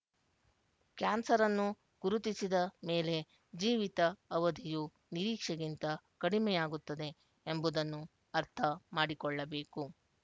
ಕ್ಯಾನ್ಸರನ್ನು ಗುರುತಿಸಿದ ಮೇಲೆ ಜೀವಿತ ಅವಧಿಯು ನಿರೀಕ್ಷೆಗಿಂತ ಕಡಿಮೆ ಯಾಗುತ್ತದೆ ಎಂಬುದನ್ನು ಅರ್ಥ ಮಾಡಿಕೊಳ್ಳಬೇಕು